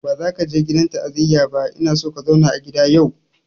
Ba za ka je gidan ta'aziyar ba ina son ka zauna a gida yau!